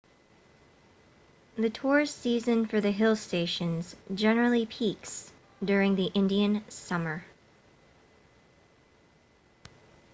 the tourist season for the hill stations generally peaks during the indian summer